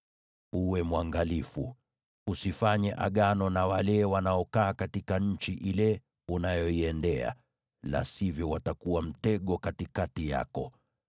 Uwe mwangalifu, usifanye agano na wale wanaokaa katika nchi ile unayoiendea, la sivyo watakuwa mtego katikati yako.